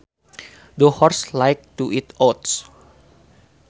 The horse likes to eat oats